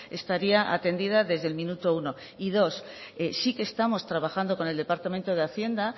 estaría atendida desde el minuto uno y dos sí que estamos trabajando con el departamento de hacienda